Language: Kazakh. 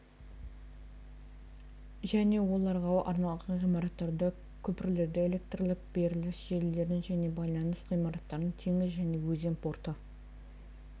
және оларға арналған ғимараттарды көпірлерді электрлік беріліс желілерін және байланыс ғимаратын теңіз және өзен порты